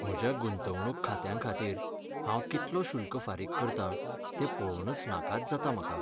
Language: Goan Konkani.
म्हज्या गुंतवणूक खात्यांखातीर हांव कितलो शुल्क फारीक करतां तें पळोवन नाकाच जाता म्हाका.